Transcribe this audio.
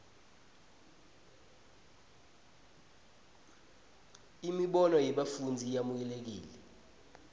imibono yebafundzi yemukelekile